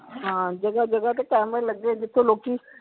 ਹਾਂ ਜਗਾਹ ਜਗਾਹ ਤੇ ਕੈਮਰੇ ਲਗੇ ਜਿਥੇ ਲੋਕੀ